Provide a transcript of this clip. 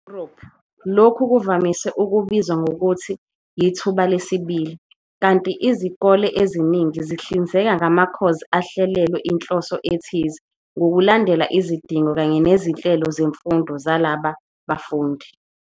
EYuropha lokhu kuvamise ukubizwa ngokuthi "yithuba lesibili" kanti izikole eziningi zihlinzeka ngamakhozi ahlelelwe inhloso ethize ngolulandela izidingo kanye nezinhlelo zemfundo zalaba bafundi.